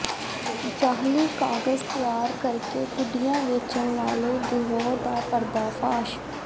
ਜਾਅਲੀ ਕਾਗਜ਼ ਤਿਆਰ ਕਰਕੇ ਗੱਡੀਆਂ ਵੇਚਣ ਵਾਲੇ ਗਿਰੋਹ ਦਾ ਪਰਦਾਫਾਸ਼